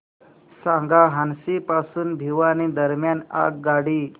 सांगा हान्सी पासून भिवानी दरम्यान आगगाडी